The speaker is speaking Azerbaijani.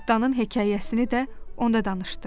Cırtdanın hekayəsini də onda danışdı.